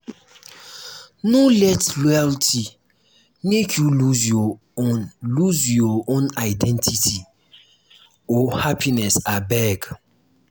no let loyalty make you lose your own lose your own identity or happiness abeg.